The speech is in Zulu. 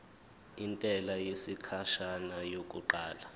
intela yesikhashana yokuqala